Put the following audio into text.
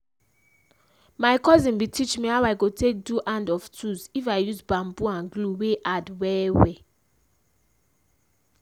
my cousin bin teach me how i go take do hand of tools if i use bamboo and glue wey hard well well.